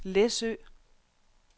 Læsø